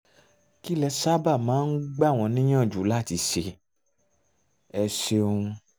kí lẹ sábà máa ń gbà wọ́n níyànjú láti ṣe? ẹ ṣeun